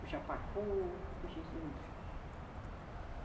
Puxa pacu, puxa esses outros peixes.